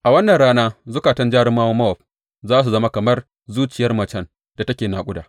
A wannan rana zukatan jarumawan Mowab za su zama kamar zuciyar macen da take naƙuda.